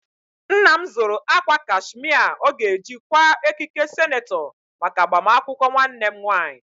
Nna m zụrụ akwa kashmia ọ ga-eji kwaa ekike senetọ maka agbamakwụkwọ nwannem nwaanyị.